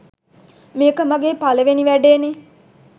මේක මගේ පළවෙනි වැඩේනේ